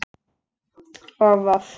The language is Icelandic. og Voff